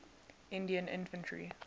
indian infantry